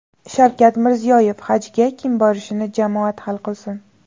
Shavkat Mirziyoyev: Hajga kim borishini jamoat hal qilsin.